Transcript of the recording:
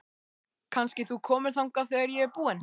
Kannski þú komir þangað þegar ég er búin?